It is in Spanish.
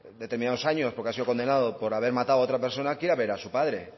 determinados años porque ha sido condenado por haber matado a otra persona quiera ver a su padre